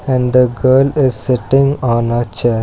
And the girl is sitting on a chair.